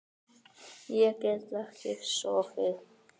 Ég gat ekki sofið.